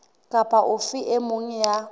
kapa ofe e mong ya